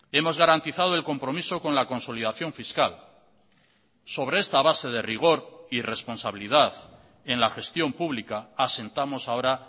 hemos garantizado el compromiso con la consolidación fiscal sobre esta base de rigor y responsabilidad en la gestión pública asentamos ahora